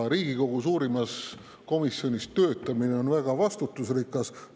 Riigikogu suurimas komisjonis töötamine on väga vastutusrikas.